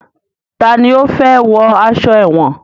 Tani ó fẹ́ wọ aṣọ èwọ̀n?